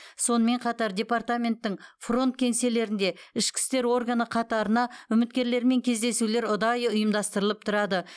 сонымен қатар департаменттің фронт кеңселерінде ішкі істер органы қатарына үміткерлермен кездесулер ұдайы ұйымдастырылып тұрады